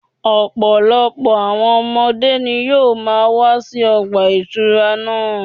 Ọ̀pọ̀lọpọ̀ àwọn ọmọdé ni yóò máa wá sí ọgbà ìtura náà